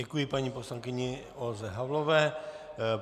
Děkuji paní poslankyni Olze Havlové.